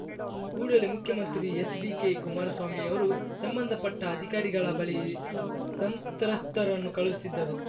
ಕೂಡಲೇ ಮುಖ್ಯಮಂತ್ರಿ ಎಚ್‌ಡಿಕೆ ಕುಮಾರಸ್ವಾಮಿ ಅವರು ಸಂಬಂಧಪಟ್ಟಅಧಿಕಾರಿಗಳ ಬಳಿ ಸಂತ್ರಸ್ತ್ರರನ್ನು ಕಳುಹಿಸಿದ್ದರು